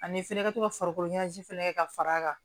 Ani fɛnɛ ka to ka farikolo ɲɛnajɛ fɛnɛ kɛ ka far'a kan